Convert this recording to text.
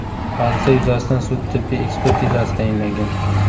Hodisa yuzasidan sud-tibbiy ekspertizasi tayinlangan.